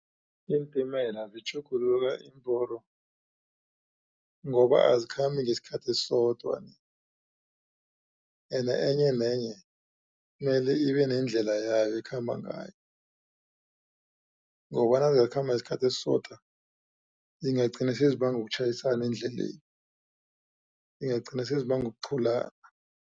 Iintimela zitjhugulula iimporo, ngoba azikhambi ngesikhathi esisodwa ni. Ende enye nenye mele ibe nendlela yayo ekhamba ngayo, ngokobana zakhamba ngesikhathi esisodwa zingagcina sezibanga ukutjhayisana endleleni, zingagcina sezibanga ukuqhulana.